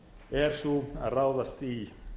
er sú að ráðast í